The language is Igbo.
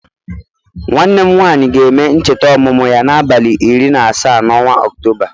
Nwanne m nwanyị ga-eme ncheta ọmụmụ ya n'abalị iri na asaa n'ọnwa Ọktoba